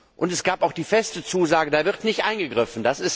Und es gab auch die feste Zusage, da wird nicht eingegriffen.